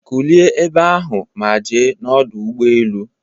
Kulie ebe ahụ ma je n'Ọdụ Ụgbọ elu